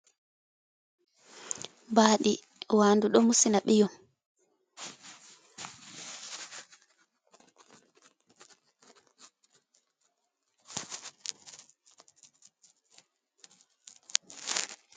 Baadi. Wandu do musina ɓiyom.